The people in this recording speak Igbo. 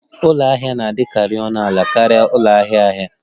Ụlọ ahịa na-adịkarị ọnụ ala karịa ụlọ ahịa ahịa